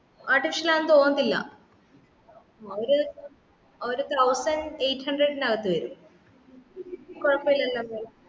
artificial ആണെന്ന് തോന്നത്തില്ല ഒരു ഒരു thousand eight hundred നു അകത്തു വരും കുയപ്പയില്ലലോ അത്പോലെ